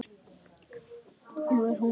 Nú er hún í ham.